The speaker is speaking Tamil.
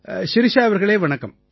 ஷிரிஷா அவர்களே வணக்கம்